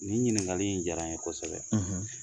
Nin ɲininkakali in jara n ye kosɛbɛ